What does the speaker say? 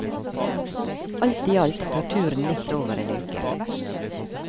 Alt i alt tar turen litt over en uke.